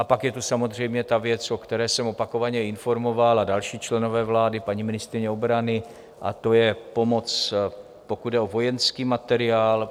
A pak je tu samozřejmě ta věc, o které jsem opakovaně informoval, a další členové vlády, paní ministryně obrany, a to je pomoc, pokud jde o vojenský materiál.